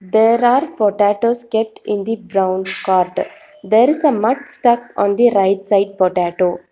There are potatoes kept in the brown cart there is a mud stucked on the right side potato.